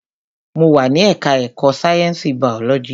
Mo wà ní ẹka ẹ̀kọ́ sáyẹnsì biology.